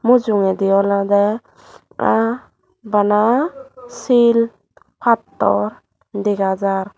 mujungedi olode aah bana shil pattor dega jar.